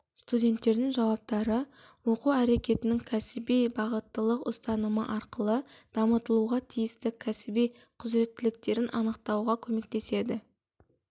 студенттердің жауаптары оқу әрекетінің кәсіби бағыттылық ұстанымы арқылы дамытылуға тиісті кәсіби құзыреттіліктерін анықтауға көмектеседі